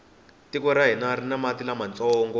tiko ra hina rini mati lamantsongo